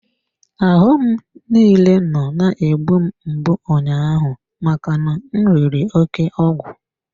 Ahụ m niile nọ na-egbu mgbu ụnyaahụ maka na m riri oke ọgwụ.